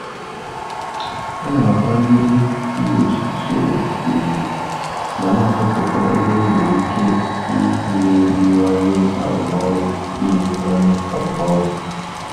Ana m akwanyere iwu usoro ùgwù ma na-achọpụta ebe enwere ike imeziwanye arụmọrụ. imeziwanye arụmọrụ.